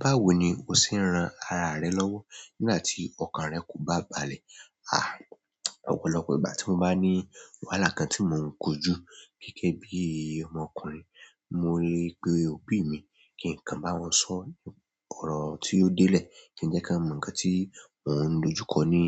Báwo ni o ṣe ń ran ara rẹ lọ́wọ́ nígbà tí ọkàn rẹ kò bá balẹ̀? Ọ̀pọ̀lọpọ̀ ìgbà tí mo bá ní wàhálà kan tí mò ń kojú gẹ́gẹ́ bí ọmọkùnrin, mo lè pe òbí mi. Kí n kàn bá wọn sọ̀ ọ̀rọ̀ tí ó délé, kí n jẹ́ kí n mọ ǹkan tí wọ́n ń dojú kọ ni